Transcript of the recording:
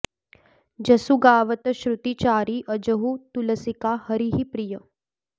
जसु गावत श्रुति चारि अजहुँ तुलसिका हरिहि प्रिय